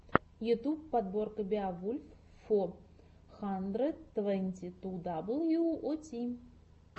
ютюб подборка беовулф фо хандрэд твэнти ту дабл ю о ти